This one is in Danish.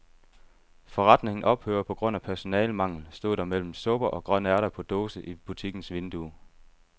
Forretningen ophører på grund af personalemangel, stod der mellem supper og grønærter på dåse i butikkens vindue.